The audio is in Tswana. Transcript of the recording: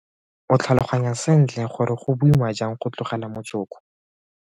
O tlhaloganya sentle gore go boima jang go tlogela motsoko.